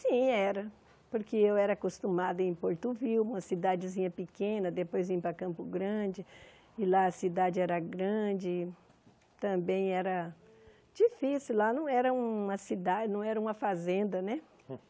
Sim, era, porque eu era acostumada em Porto, uma cidadezinha pequena, depois vim para Campo Grande, e lá a cidade era grande, também era difícil, lá não era uma cidade, não era uma fazenda, né?